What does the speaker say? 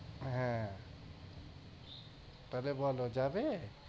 হ্যাঁ তবে বলো যাবে